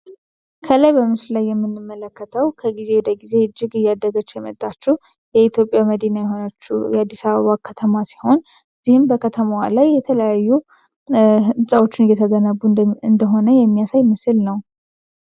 ከላይ በምስሉ የምንመለከተው ከጊዜ ወደ ጊዜ እጅግ እያደገች የመጣችው የኢትዮጵያ መዲና የሆነችው የአዲ አበባ ከተማ ሲሆን እነዚህም በከተማዋ ላይ የተለያዩ ህንፃዎች እየተገነቡ እንደሚገኙ እንደሆነ የሚያሳይ ምስል ነው።